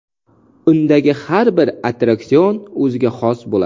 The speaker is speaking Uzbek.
Undagi har bir attraksion o‘ziga xos bo‘ladi.